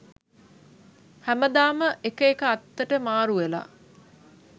හැමදාම එක එක අත්තට මාරුවෙලා